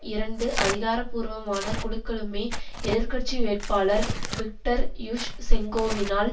இரண்டு அதிகாரபூர்வமான குழுக்களுமே எதிர் கட்சி வேட்பாளர் விக்டர் யுஷ்செங்கோவினால்